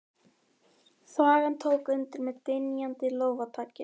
Þvagan tók undir með dynjandi lófataki.